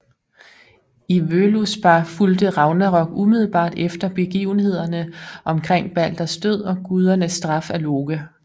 I Völuspá fulgte Ragnarok umiddelbart efter begivenhederne omkring Balders død og gudernes straf af Loke